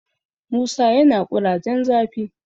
musa yana kurajen zafi